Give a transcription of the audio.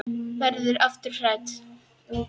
Verður aftur hrædd.